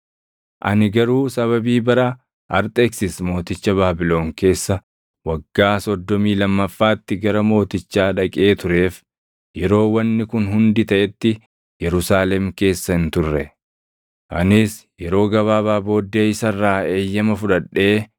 Ani garuu sababii bara Arxeksis mooticha Baabilon keessa waggaa soddomii lammaffaatti gara mootichaa dhaqee tureef yeroo wanni kun hundi taʼetti Yerusaalem keessa hin turre. Anis yeroo gabaabaa booddee isa irraa eeyyama fudhadhee